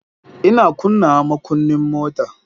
Ina kunnawa makunnin mota.